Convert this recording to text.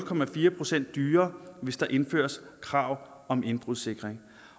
procent dyrere hvis der indføres krav om indbrudssikring